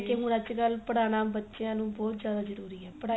ਹੁਣ ਅੱਜਕਲ ਪੜਾਣਾ ਬੱਚਿਆ ਨੂੰ ਬਹੁਤ ਜਿਆਦਾ ਜਰੂਰੀ ਏ ਪੜਾਈ